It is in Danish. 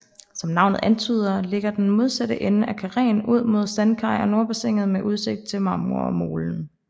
Som navnet antyder ligger den modsatte side af karreen ud mod Sandkaj og Nordbassinet med udsigt til Marmormolen